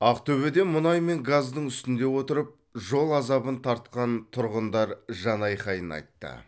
ақтөбеде мұнай мен газдың үстінде отырып жол азабын тартқан тұрғындар жанайқайын айтты